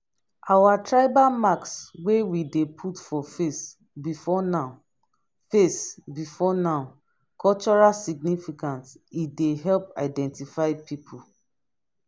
our tribal marks wey we dey put for face before now face before now cultural significance e dey help identify pipo.